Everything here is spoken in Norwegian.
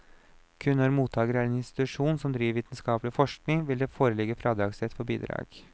Kun når mottager er en institusjon som driver vitenskapelig forskning, vil det foreligge fradragsrett for bidrag.